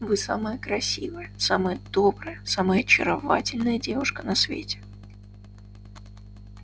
вы самая красивая самая добрая самая очаровательная девушка на свете